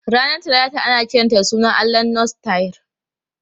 Ranar Talata ana kiranta da sunan allahn Norse Tyr.